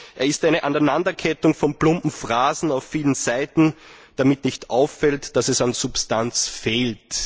Er ist eine Aneinanderkettung von plumpen Phrasen auf vielen Seiten, damit nicht auffällt, dass es an Substanz fehlt.